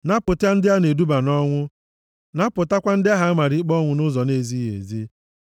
Napụta ndị a na-eduba nʼọnwụ. Napụtakwa ndị ahụ a mara ikpe ọnwụ nʼụzọ na-ezighị ezi.